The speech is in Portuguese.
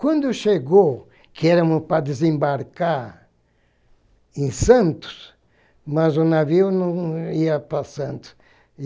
Quando chegou, que éramos para desembarcar em Santos, mas o navio não ia para Santos.